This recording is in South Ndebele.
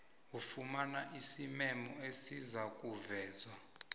ufumane isimemo esizakuvezwa